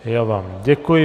Já vám děkuji.